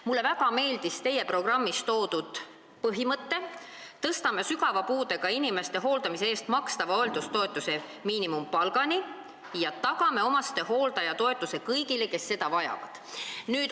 Mulle väga meeldis teie programmis toodud põhimõte, et te tõstate sügava puudega inimeste hooldamise eest makstava hooldustoetuse miinimumpalgani ja tagate omastehooldajatoetuse kõigile, kes seda vajavad.